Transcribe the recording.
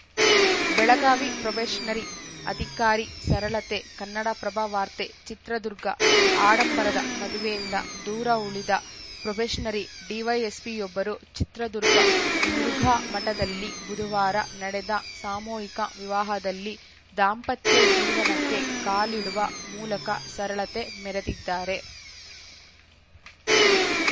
Belagavi probationary ಅಧಿಕಾರಿ ಸರಳತೆ ಕನ್ನಡಪ್ರಭವಾರ್ತೆ ಚಿತ್ರದುರ್ಗ ಆಡಂಬರದ ಮದುವೆಯಿಂದ ದೂರ ಉಳಿದ ಪ್ರೊಬೆಷನರಿ ಡಿವೈಎಸ್ಪಿಯೊಬ್ಬರು ಚಿತ್ರದುರ್ಗ ಮುರುಘಾಮಠದಲ್ಲಿ ಬುಧವಾರ ನಡೆದ ಸಾಮೂಹಿಕ ವಿವಾಹದಲ್ಲಿ ದಾಂಪತ್ಯ ಜೀವನಕ್ಕೆ ಕಾಲಿಡುವ ಮೂಲಕ ಸರಳತೆ ಮೆರೆದಿದ್ದಾರೆ